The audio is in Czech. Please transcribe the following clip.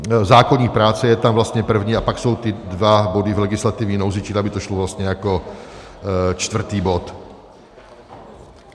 Zákoník práce je tam vlastně první a pak jsou ty dva body v legislativní nouzi, čili aby to šlo vlastně jako čtvrtý bod.